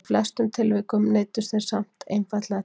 í flestum tilvikum neyddust þeir samt einfaldlega til þess